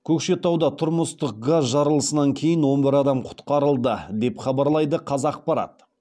көкшетауда тұрмыстық газ жарылысынан кейін он бір адам құтқарылды деп хабарлайды қазақпарат